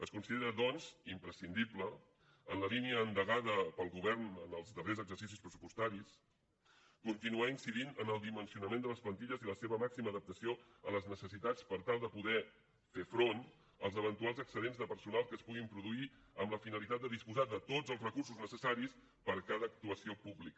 es considera doncs imprescindible en la línia endegada pel govern en els darrers exercicis pressupostaris continuar incidint en el dimensionament de les plantilles i la seva màxima adaptació a les necessitats per tal de poder fer front als eventuals excedents de personal que es puguin produir amb la finalitat de disposar de tots els recursos necessaris per a cada actuació pública